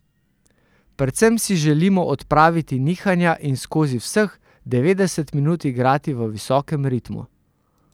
Predvsem si želimo odpraviti nihanja in skozi vseh devetdeset minut igrati v visokem ritmu.